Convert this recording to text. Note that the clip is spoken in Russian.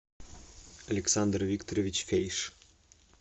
александр викторович фейш